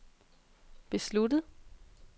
besluttet